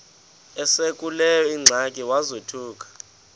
esekuleyo ingxaki wazothuka